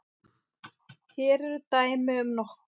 Hér eru dæmi um nokkur